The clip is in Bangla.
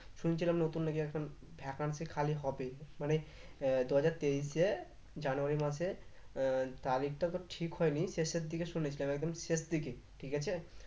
শুনছিলাম নতুন নাকি একজন vacancy খালি হবে মানে আহ দু হাজার তেইশে January মাসে আহ তারিখটা তোর ঠিক হয়নি শেষের দিকে শুনেছিলাম একদম শেষ দিকে ঠিক আছে